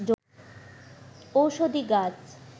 ঔষধি গাছ